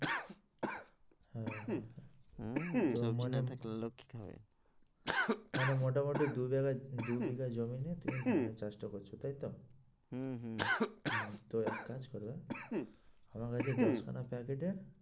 সবজি না থাকলে লোক কি খাবে? মানে মোটামুটি দু জায়গায় দু বিঘা জমি নিয়ে তুমি ধানের চাষটা করছো তাই তো? হম হম হম তো এক কাজ করবে এবং আমার কাছে দশখানা packet এর